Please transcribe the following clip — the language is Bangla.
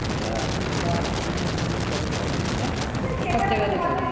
টা আপনি বা বিভিন্ন ধরণের পরোটা এইটা সব জায়গাতেই পাবেন